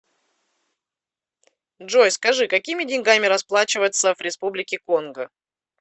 джой скажи какими деньгами расплачиваться в республике конго